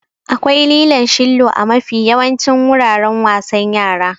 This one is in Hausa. Akwai lilon shillo a mafi yawancin guraren wasan yara.